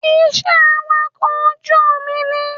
Iṣẹ́ awakọ̀ ojú omi ni